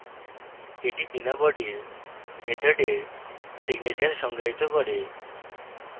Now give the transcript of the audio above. এটি বিনা body মেথডের signature সংজ্ঞায়িত করে